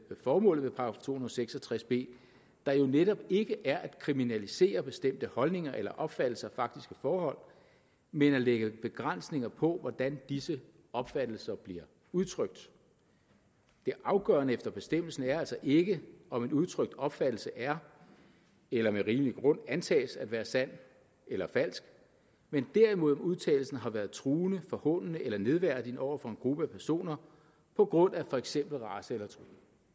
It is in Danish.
formålet med § to og seks og tres b der jo netop ikke er at kriminalisere bestemte holdninger eller opfattelser af faktiske forhold men at lægge begrænsninger på hvordan disse opfattelser bliver udtrykt det afgørende efter bestemmelsen er altså ikke om en udtrykt opfattelse er eller med rimelig grund antages at være sand eller falsk men derimod om udtalelsen har været truende forhånende eller nedværdigende over for en gruppe af personer på grund af for eksempel race eller tro